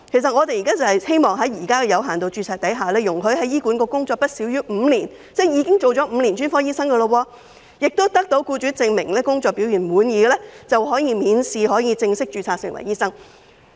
我們希望在現時有限度註冊的制度下，容許在醫管局工作不少於5年——即已經做了5年專科醫生——並得到僱主證明工作表現滿意的醫生，可以免試正式註冊成為醫生。